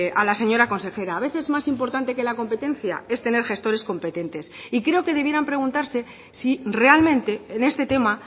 a la señora consejera a veces más importante que la competencia es tener gestores competentes y creo que debieran preguntarse si realmente en este tema